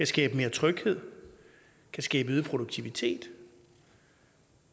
skabe mere tryghed kan skabe øget produktivitet